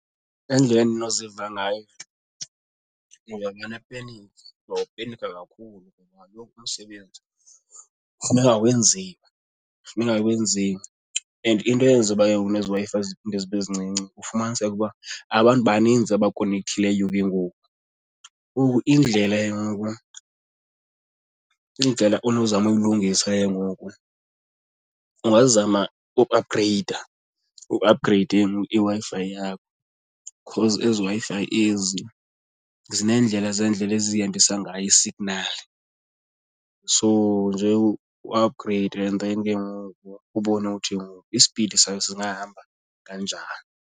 Indlela endinoziva ngayo ndingapenika ndawupenikha kakhulu ngoba kaloku umsebenzi kufuneka wenziwe, kufuneka wenziwe and into eyenza uba ke ngoku nezi Wi-Fi ziphinde zibe zincinci ufumaniseke uba abantu baninzi abakonekthileyo ke ngoku. Indlela ke ngoku, indlela onozama uyilungisa ke ngoku ungazama ukuapgreyida uapgreyide ke ngoku iWi-Fi yakho because ezi Wi-Fi ezi zinendlela zeendlela ezihambisa ngayo isignali. So nje uapgreyide and then ke ngoku ubone uthi ngoku ispidi sayo singahamba kanjani.